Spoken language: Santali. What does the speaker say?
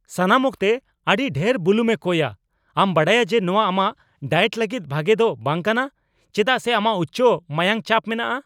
ᱥᱟᱱᱟᱢ ᱚᱠᱛᱮ ᱟᱹᱰᱤ ᱰᱷᱮᱨ ᱵᱩᱞᱩᱝ ᱮ ᱠᱚᱭᱼᱟ ! ᱟᱢ ᱵᱟᱰᱟᱭᱟ ᱡᱮ ᱱᱚᱶᱟ ᱟᱢᱟᱜ ᱰᱟᱭᱮᱴ ᱞᱟᱹᱜᱤᱫ ᱵᱷᱟᱜᱮ ᱫᱚ ᱵᱟᱝ ᱠᱟᱱᱟ ᱪᱮᱫᱟᱜ ᱥᱮ ᱟᱢᱟᱜ ᱩᱪᱪᱚ ᱢᱟᱭᱟᱝ ᱪᱟᱯ ᱢᱮᱱᱟᱜᱼᱟ ᱾